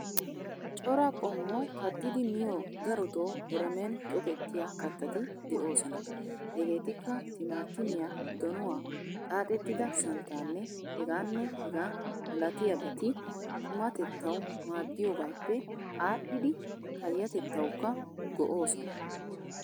Cora qommo kattidi miyoo darotoo eremen tokettiyaa kattati de'oosona. Hegeetikka timaatimiyaa, donuwaa, xaaxettida santtaannee heegaanne hegaa malatiyaabati qumatettawu maaddiyoogaappe aadhidi payyatettawukka go'oosona.